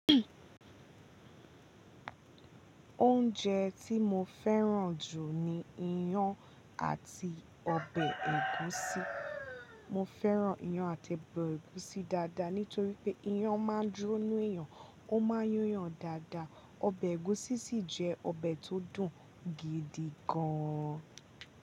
Oúnjẹ tí mo fẹ́ràn jù ni iyán àti ọbẹ̀ ẹ̀gúsí. Mo fẹ́ràn iyán àti ọbẹ̀ ẹ̀gúsí dáadáa nítorí pé iyán máa ń dúró nínú èèyàn, ó máa ń yooyàn dáadáa. Ọbẹ̀ ẹ̀gúsí sì jẹ́ ọbẹ̀ tó dùn gidi gan.